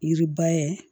Yiriba ye